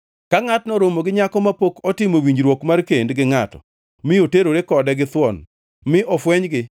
Ka ngʼato oromo gi nyako mapok otimo winjruok mar kend gi ngʼato mi oterore kode githuon mi ofwenygi,